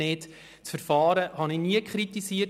Das Verfahren habe ich nie kritisiert.